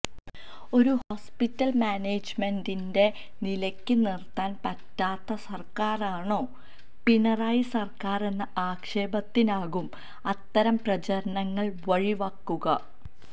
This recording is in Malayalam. ഒരു ഹോസ്പിറ്റല് മാനേജ്മെന്റിനെ നിലക്ക് നിര്ത്താന് പറ്റാത്ത സര്ക്കാറാണോ പിണറായി സര്ക്കാറെന്ന ആക്ഷേപത്തിനാകും അത്തരം പ്രചരണങ്ങള് വഴി വക്കുക